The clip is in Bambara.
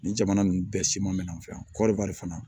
Nin jamana ninnu bɛɛ siman mɛna an fɛ yan kɔɔriwari fana